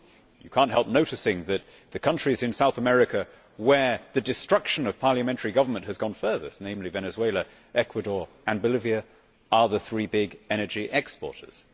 You cannot help noticing that the countries in South America where the destruction of parliamentary government has gone furthest, namely Venezuela, Ecuador and Bolivia, are the three big energy exporters.